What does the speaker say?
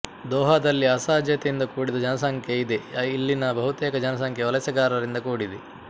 ದೊಹಾದಲ್ಲಿ ಅಸಹಜತೆಯಿಂದ ಕೂಡಿದ ಜನಸಂಖ್ಯೆ ಇದೆಇಲ್ಲಿನ ಬಹುತೇಕ ಜನಸಂಖ್ಯೆ ವಲಸೆಗಾರರಿಂದ ಕೂಡಿದೆ